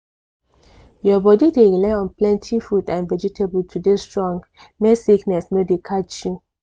your body dey rely on plenty fruit and vegetable to dey strong make sickness no dey catch you.